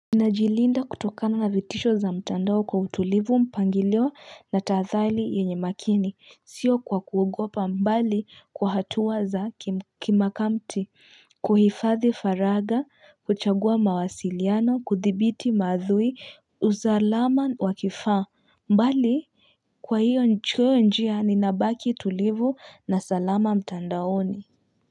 Ninajilinda kutokana na vitisho za mtandao kwa utulivu mpangilio na tahathali yenye makini, sio kwa kuogopa mbali kwa hatua za kimkamti, kuhifathi faraga, kuchagua mawasiliano, kuthibiti mauthui, usalama wa kifaa, mbali kwa hiyo njia ninabaki tulivu na salama mtandaoni.